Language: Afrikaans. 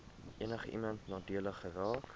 enigiemand nadelig geraak